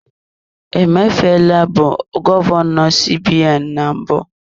Emefiele bụ gọvanọ CBN na mbụ.